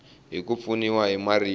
hi ku pfuniwa hi marito